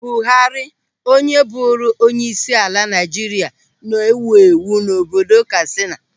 Buhari, onye bụrụ onyeisiala Naịjirịa, na-ewu ewu n'obodo Katsina.